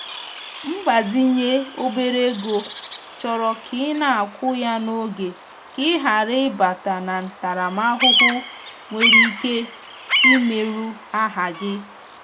mgbazinye obere ego chọrọ ka ị na-akwụ ya n’oge ka ị ghara ịbata na ntaramahụhụ nwere ike imerụ aha gị.